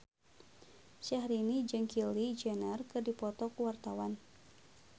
Syahrini jeung Kylie Jenner keur dipoto ku wartawan